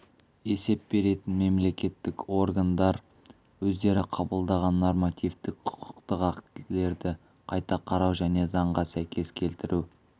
есеп беретін мемлекеттік органдар өздері қабылдаған нормативтік құқықтық актілерді қайта қарау және заңға сәйкес келтіру